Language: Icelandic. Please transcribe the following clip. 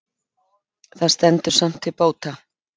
Það stendur samt til bóta